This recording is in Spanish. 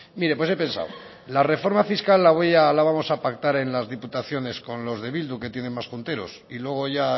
mire pues he pensado la reforma fiscal la vamos a pactar en las diputaciones con los de bildu que tienen más junteros y luego ya